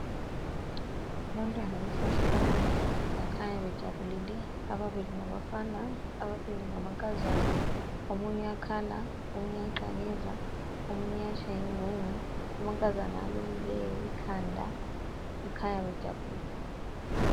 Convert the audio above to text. Abantwana basesikolo bakhanya bejabulile ababili ngabafana, ababili ngamankazana omunye uyakhala ,omunye uyaqakeza omunye uyatshaya ingungu amankazana alukileyo ikhanda kukhanya bejabulile.